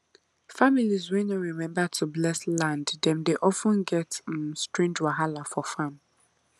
families wey no remember to bless land dem dey of ten get um strange wahala for farm